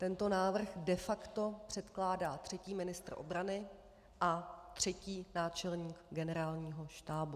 Tento návrh de facto předkládá třetí ministr obrany a třetí náčelník Generálního štábu.